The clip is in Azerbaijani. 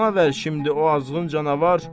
Bana ver şimdi o azğın canavar.